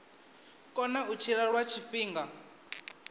kona u tshila lwa tshifhinga